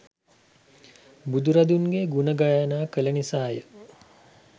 බුදුරදුන්ගේ ගුණ ගායනා කළ නිසා ය.